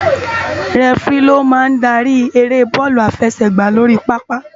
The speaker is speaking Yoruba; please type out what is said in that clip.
Rèfiri ló má n dári éré bòlú àláfèsègbá lóri pàápá